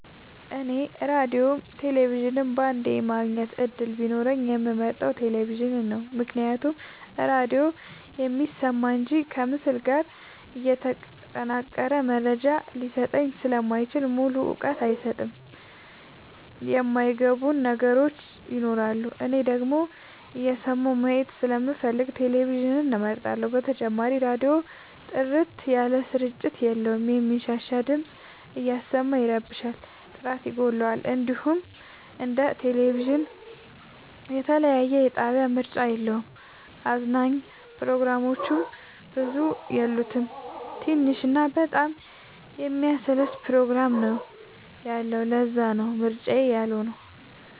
እኔ ራዲዮም ቴሌቪዥንም በአንዴ የማግኘት እድል ቢኖረኝ የምመርጠው። ቴሌቪዥንን ነው ምክንያቱም ራዲዮ የሚሰማ እንጂ ከምስል ጋር የተጠናቀረ መረጃ ሊሰጠኝ ስለማይችል ሙሉ እውቀት አይሰጥም የማይ ገቡን ነገሮች ይኖራሉ። እኔ ደግሞ እየሰማሁ ማየት ስለምፈልግ ቴሌቪዥንን እመርጣለሁ። በተጨማሪም ራዲዮ ጥርት ያለ ስርጭት የለውም የሚንሻሻ ድምፅ እያሰማ ይረብሻል ጥራት ይጎለዋል። እንዲሁም እንደ ቴሌቪዥን የተለያየ የጣቢያ ምርጫ የለውም። አዝናኝ ፕሮግራሞችም ብዙ የሉት ትንሽ እና በጣም የሚያሰለች ፕሮግራም ነው ያለው ለዛነው ምርጫዬ ያልሆ ነው።